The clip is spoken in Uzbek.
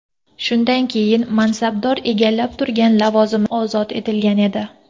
Shunday keyin mansabdor egallab turgan lavozimidan ozod etilgan edi .